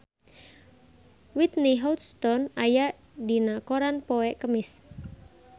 Whitney Houston aya dina koran poe Kemis